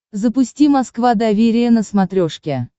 запусти москва доверие на смотрешке